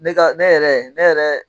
Ne ka ne yɛrɛ ne yɛrɛ.